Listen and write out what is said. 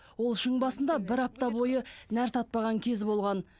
ол шың басында бір апта бойы нәр татпаған кезі болған